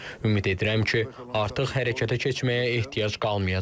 Ümid edirəm ki, artıq hərəkətə keçməyə ehtiyac qalmayacaq.